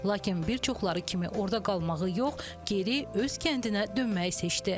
Lakin bir çoxları kimi orda qalmağı yox, geri öz kəndinə dönməyi seçdi.